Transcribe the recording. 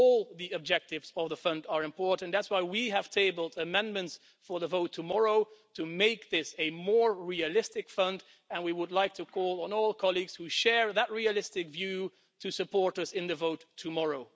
All the objectives of the fund are important, that's why we have tabled amendments for the vote tomorrow to make this a more realistic fund, and we would like to call on all colleagues who share that realistic view to support us in the vote tomorrow.